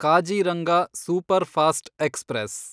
Kaziranga superfast express